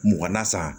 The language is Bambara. Mugan na san